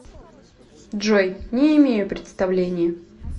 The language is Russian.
джой не имею представления